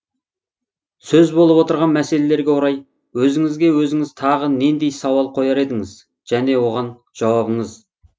сөз болып отырған мәселелерге орай өзіңізге өзіңіз тағы нендей сауал қояр едіңіз және оған жауабыңыз